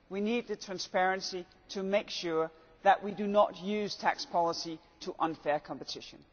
We need the transparency to make sure that we do not use tax policy to create unfair competition.